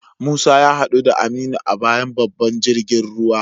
Musa ya hadu da Aminu a bayan babban jirgin ruwa.